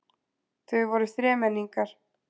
Þau voru þremenningar.